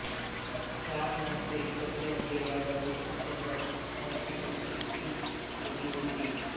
चार माणसे एकत्र जेवायला बसू शकत नव्हती अशी ती खोली होती